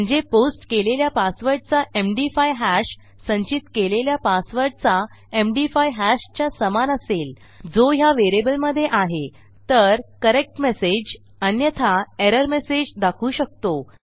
म्हणजे पोस्ट केलेल्या पासवर्डचा एमडी5 हॅश संचित केलेल्या पासवर्डचा एमडी5 हॅश च्या समान असेल जो ह्या व्हेरिएबलमधे आहे तर करेक्ट मेसेज अन्यथा एरर मेसेज दाखवू शकतो